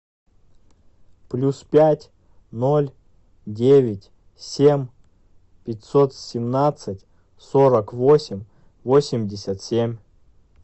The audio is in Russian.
плюс пять ноль девять семь пятьсот семнадцать сорок восемь восемьдесят семь